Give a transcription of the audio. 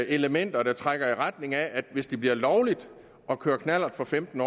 elementer der trækker i retning af at hvis det bliver lovligt at køre knallert for femten